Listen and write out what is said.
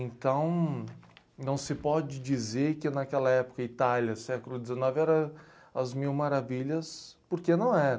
Então, não se pode dizer que naquela época a Itália, século dezenove, era as mil maravilhas, porque não era.